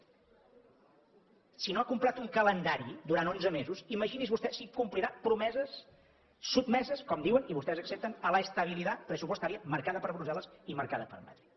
si no ha complert un calendari durant onze mesos imagini’s vostè si complirà promeses sotmeses com diuen i vostès accepten a la estabilidad presupuestaria marcada per brussel·les i marcada per madrid